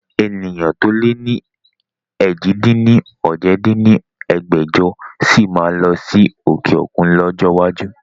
Ènìyàn to lè ni èjì-dín-ní-ojì dín ní ẹgbẹ́jọ sí máa lọ sí òkè òkun lọ́jọ́ iwájú